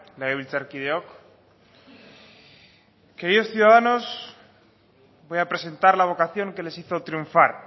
legebiltzarkideok queridos ciudadanos voy a presentar la vocación que les hizo triunfar